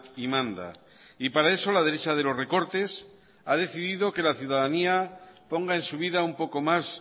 y manda y para eso la derecha de los recortes ha decidido que la ciudadanía ponga en su vida un poco más